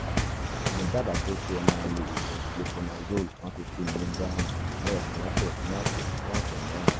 mo dábàá pé kí ẹ máa lo oògùn fluconazole one fifty miligíráàmù lẹ́ẹ̀kan lọ́sẹ̀ fún ọ̀sẹ̀ fún ọ̀sẹ̀ mẹ́rin